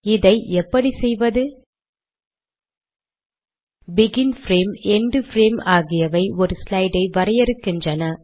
இதை எப்படி செய்வது160 பெகின் பிரேம் எண்ட் பிரேம் ஆகியவை ஒரு ஸ்லைட் ஐ வரையறுக்கின்றன